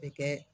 Bɛ kɛ